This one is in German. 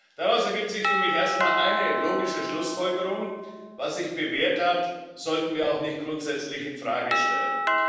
Daraus ergibt sich für mich erstmal eine logische Schlussfolgerung Was sich bewährt hat, sollten wir auch grundsätzlich nicht in Frage stellen.